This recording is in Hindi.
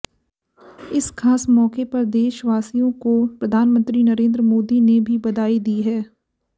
इस खास मौके पर देशवासियों को प्रधानमंत्री नरेन्द्र मोदी ने भी बधाई दी है